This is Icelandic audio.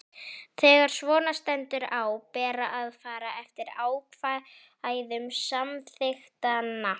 Þegar svona stendur á ber að fara eftir ákvæðum samþykktanna.